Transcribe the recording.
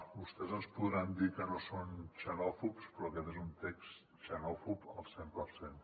vostès ens podran dir que no són xenòfobs però aquest és un text xenòfob al cent per cent